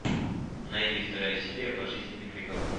найди вторая серия пожизненный приговор